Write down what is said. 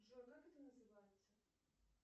джой как это называется